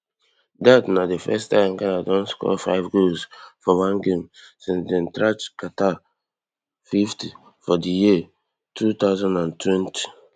dat na di first time ghana don score five goals for one game since dem thrash qatar fifty for di year two thousand and twenty